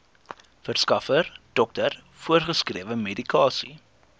verskaffer dokter voorgeskrewemedikasie